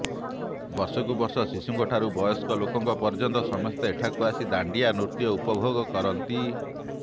ବର୍ଷକୁ ବର୍ଷ ଶିଶୁଙ୍କଠାରୁ ବୟସ୍କ ଲୋକଙ୍କ ପର୍ଯ୍ୟନ୍ତ ସମସ୍ତେ ଏଠାକୁ ଆସି ଦାଣ୍ଡିଆ ନୃତ୍ୟ ଉପଭୋଗ କରନ୍ତି